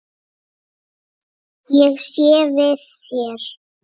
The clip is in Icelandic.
Ég sé við þér.